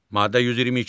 Maddə 122.